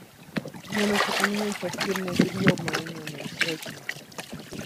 мне нужно поменять постельное белье в моем номере срочно